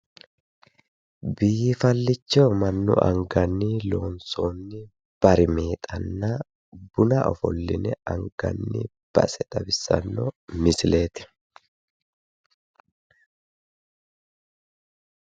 Biifallicho mannu anganni loonsoonni barimeexanna buna ofolline anganni base xawissanno misileeti.